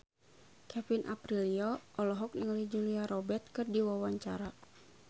Kevin Aprilio olohok ningali Julia Robert keur diwawancara